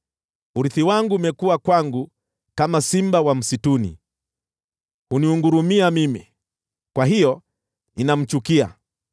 Urithi wangu umekuwa kwangu kama simba wa msituni. Huningurumia mimi, kwa hiyo ninamchukia.